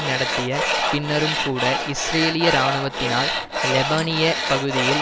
நடத்திய பின்னரும் கூட இஸ்ரேலிய இராணுவத்தினால் லெபனிய பகுதியில்